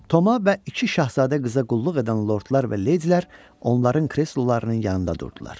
Toma və iki şahzadə qıza qulluq edən Lordlar və Ledilər onların kreslolarının yanında durdular.